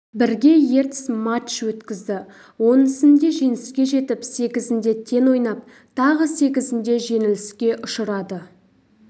бірге ертіс матч өткізді оның сінде жеңіске жетіп сегізінде тең ойнап тағы сегізінде жеңіліске ұшырады